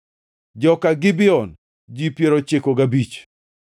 joka Gibeon, ji piero ochiko gabich (95),